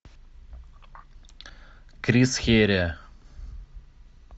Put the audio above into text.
крис херия